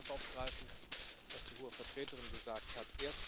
Ich möchte auch das aufgreifen, was die Hohe Vertreterin gesagt hat.